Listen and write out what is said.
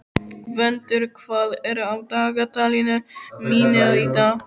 Gvöndur, hvað er á dagatalinu mínu í dag?